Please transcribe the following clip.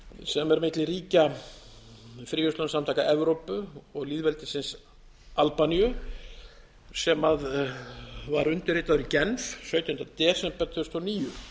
sem er milli ríkja fríverslunarsamtaka evrópu og lýðveldisins albaníu sem var undirritaður í genf sautjánda desember tvö þúsund og níu